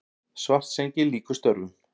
Svartsengi lýkur störfum.